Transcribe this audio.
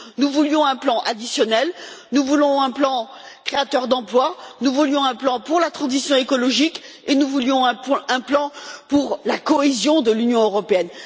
Nous voulions un plan additionnel, nous voulions un plan créateur d'emplois, nous voulions un plan pour la transition écologique et nous voulions un plan pour la cohésion de l'Union européenne.